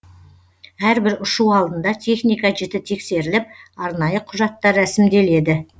әрбір ұшу алдында техника жіті тексеріліп арнайы құжаттар рәсімделеді